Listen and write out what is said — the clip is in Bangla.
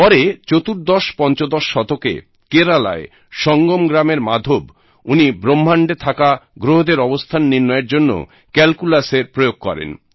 পরে চতুর্দশপঞ্চদশ শতকে কেরালায় সঙ্গম গ্রামের মাধব উনি ব্রহ্মাণ্ডে থাকা গ্রহদের অবস্থান নির্ণয়ের জন্য ক্যালকুলাসের প্রয়োগ করেন